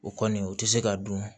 O kɔni o tɛ se ka dun